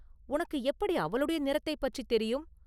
உனக்கு எப்படி அவளுடைய நிறத்தைப் பற்றித் தெரியும்?